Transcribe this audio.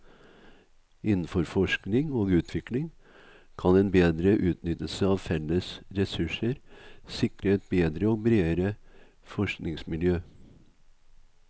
Innenfor forskning og utvikling kan bedre utnyttelse av felles ressurser sikre et bedre og bredere forskningsmiljø.